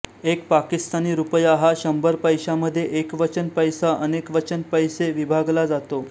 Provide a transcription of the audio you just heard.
एक पाकिस्तानी रुपया हा शंभर पैशामध्ये एकवचन पैसा अनेकवचन पैसे विभागला जातो